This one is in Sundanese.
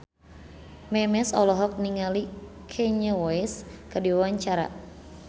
Memes olohok ningali Kanye West keur diwawancara